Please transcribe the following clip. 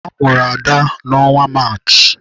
A mụrụ Ada n'ọnwa Maachị.